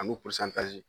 Ani